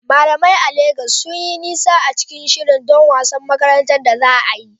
Malamai a Legas sun yi nisa cikin shiri don wasan makaranta da za a yi.